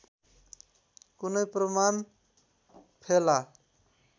कुनै प्रमाण फेला